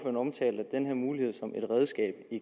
omtalte den her mulighed som et redskab i